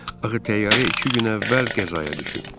Axı təyyarə iki gün əvvəl qəzaya düşüb.